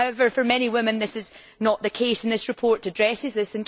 However, for many women, this is not the case, and this report addresses this.